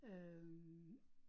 Øh